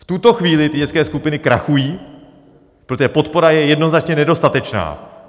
V tuto chvíli ty dětské skupiny krachují, protože podpora je jednoznačně nedostatečná.